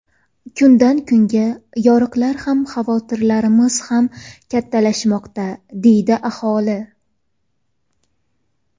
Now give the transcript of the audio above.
Kundan kunga yoriqlar ham xavotirlarimiz ham kattalashmoqda, deydi aholi.